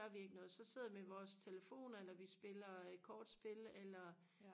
gør vi ikke noget så sidder vi med vores telefoner eller vi spiller kortspil eller